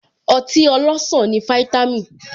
Ọtí ọlọsan ní vítámìn